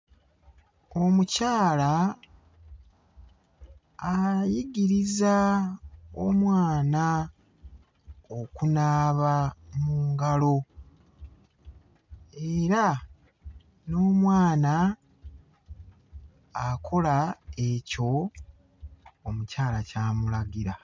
Omukyala ayigiriza omwana okunaaba mu ngalo. Era n'omwana akola ekyo omukyala ky'amulagira.